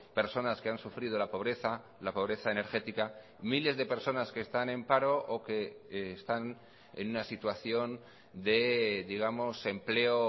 personas que han sufrido la pobreza la pobreza energética miles de personas que están en paro o que están en una situación de digamos empleo